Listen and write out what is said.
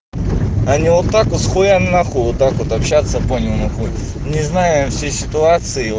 они вот так вот с хуя нахуй вот так вот общаться по нему хуй не зная всей ситуации